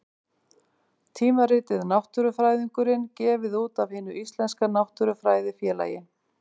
Tímaritið Náttúrufræðingurinn, gefið út af Hinu íslenska náttúrufræðifélagi.